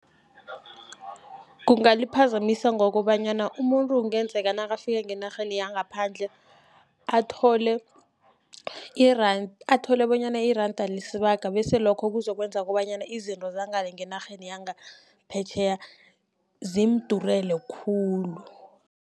Kungaliphazamisa ngokobanyana umuntu kungenzeka nakafika ngenarheni yangaphandle, athole athole bonyana iranda lisibaga., bese lokho kuzokwenza kobanyana, izinto zangale ngenarheni yangaphetjheya zimudurele khulu.